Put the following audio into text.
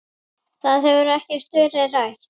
Það hefur ekkert verið rætt.